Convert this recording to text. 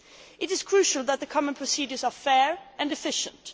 It is crucial that the common procedures are fair and efficient.